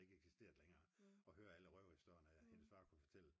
der ikke eksisterede længere og høre alle røverhistorierne hendes far kunne fortælle